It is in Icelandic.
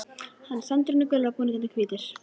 Hann: Sandurinn er gulur og búningarnir hvítir.